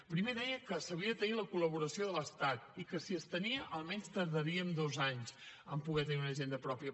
primer deia que s’havia de tenir la col·laboració de l’estat i que si es tenia almenys tardaríem dos anys a poder tenir una hisenda pròpia